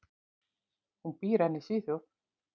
Hún býr enn í Svíþjóð.